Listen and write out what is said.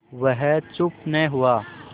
वह चुप न हुआ